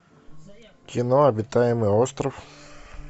кино обитаемый остров